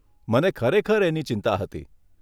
મને ખરેખર એની ચિંતા હતી.